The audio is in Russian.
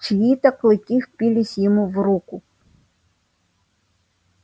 чьи то клыки впились ему в руку